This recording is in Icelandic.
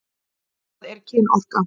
Hvað er kynorka?